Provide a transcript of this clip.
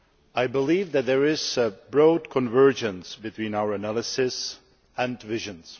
I believe that there is broad convergence between our analysis and visions.